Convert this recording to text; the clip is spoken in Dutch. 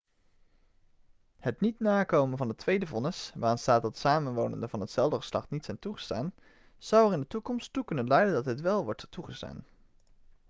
het niet nakomen van het tweede vonnis waarin staat dat samenwonenden van hetzelfde geslacht niet zijn toegestaan zou er in de toekomst toe kunnen leiden dat dit wel wordt toegestaan